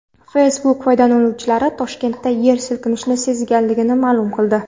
Facebook foydalanuvchilari Toshkentda yer silkinishi sezilganini ma’lum qildi .